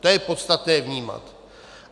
To je podstatné vnímat.